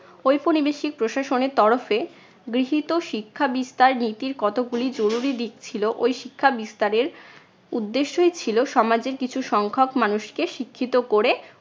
ঔপনিবেশিক প্রশাসনের তরফে গৃহীত শিক্ষা বিস্তার নীতির কতগুলি জরুরি দিক ছিল। ঐ শিক্ষা বিস্তারের উদ্দেশ্যই ছিল সমাজের কিছু সংখক মানুষকে শিক্ষিত করে